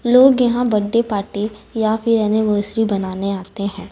लोग यहां birthday party या फिर एनिवर्सरी बनाने आते है।